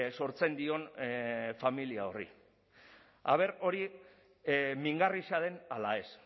sortzen dion familia horri ea hori mingarria den ala ez